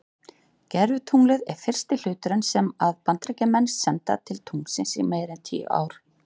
Gervitunglið er fyrsti hluturinn sem að Bandaríkjamenn senda til tunglsins í meira en tíu ár.